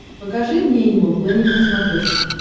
покажи мне энимал плэнет на смотрешке